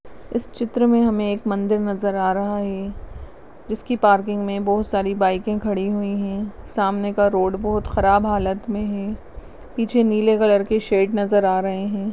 इस चित्र में हमे एक मंदिर नजर आ रहा है जिसकी पार्किंग में बहुत सारी बाईके खड़ी हुई है सामने का रोड बहुत खराब हालत में है पीछे नीले कलर के शैड नजर आ रहे है।